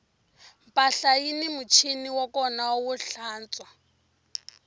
mpahla yini muchini wa kona wo tlantswa